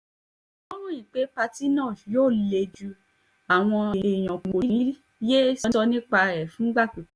wọ́n ròyìn pé pátì náà yóò le ju àwọn èèyàn kó ní í yéé sọ nípa